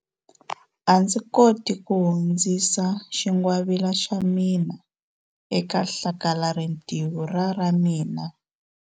A ndzi koti ku hundzisa xingwavila xa mina eka hlakalarintiho ra ra mina.